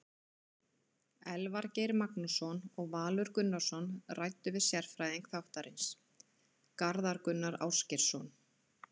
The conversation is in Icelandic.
Elvar Geir Magnússon og Valur Gunnarsson ræddu við sérfræðing þáttarins, Garðar Gunnar Ásgeirsson.